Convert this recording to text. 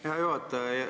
Hea juhataja!